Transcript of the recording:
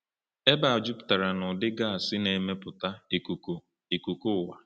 Ebe a juputara n’ụdị gas na-emepụta ikuku ikuku ụwa.